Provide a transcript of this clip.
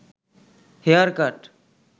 hair cut